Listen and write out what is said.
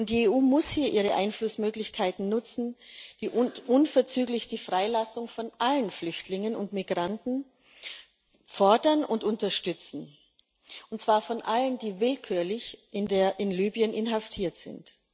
Die EU muss hier ihre Einflussmöglichkeiten nutzen und unverzüglich die Freilassung aller Flüchtlinge und Migranten fordern und unterstützen, und zwar aller, die willkürlich in Libyen inhaftiert sind.